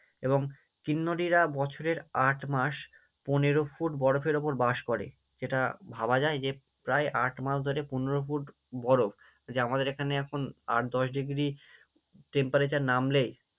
এবং কিন্নরীরা বছরের আট মাস পনেরো ফুট বরফের ওপর বাস করে, যেটা ভাবা যায় যে প্রায় আট মাস ধরে পনেরো ফুট বরফ, যে আমাদের এখানে এখন আট দশ ডিগ্রি Temperature নামলেই